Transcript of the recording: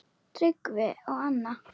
Tryggvi og Anna.